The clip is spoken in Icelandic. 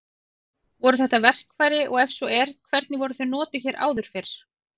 Voru þetta verkfæri og ef svo er hvernig voru þau notuð hér áður fyrr?